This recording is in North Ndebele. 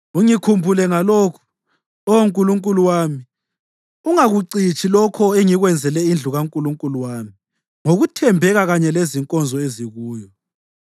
Ungikhumbule ngalokhu, Oh Nkulunkulu wami, ungakucitshi lokho engikwenzele indlu kaNkulunkulu wami ngokuthembeka kanye lezinkonzo ezikuyo.